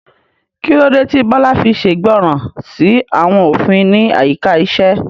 Kí ló dé tí Bola fi ṣègbọràn sí àwọn òfin ní àyíká iṣẹ́?